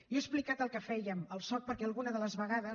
jo he explicat el que fèiem al soc perquè alguna de les vegades